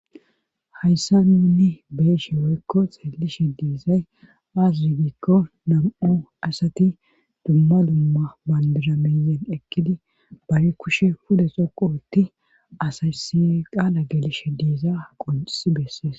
hayssa nunni beeshe weykko xeelishe diizay aasuyigikko nam7u asati dumma dumma bandirameyen ekkidi bari kushe puda xoqo wotti asaysi qaala gelishe diiza qoncisi bessees